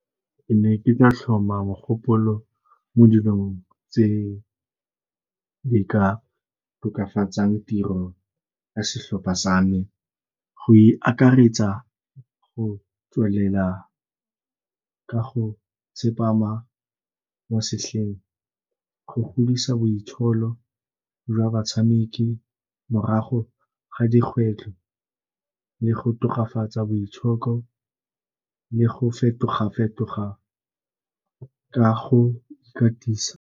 Ke ne ke tla tlhoma mogopolo mo dilong tse di ka tokafatsang tiro ka setlhopha sa me. Go e akaretsa go tswelela ka go tsepana mo setlheng, go godisa boitsholo jwa batshameki morago ga dikgwetlho le go tokafatsa boitshoko le go fetoga-fetoga ka go ikatisa.